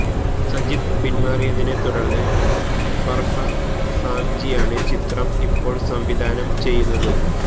സജിത്ത് പിന്മാറിയതിനെ തുടര്ന്ന് ഫര്ഹാദ് സാംജിയാണ് ചിത്രം ഇപ്പോള് സംവിധാനം ചെയ്യുന്നത്